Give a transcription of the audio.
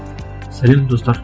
сәлем достар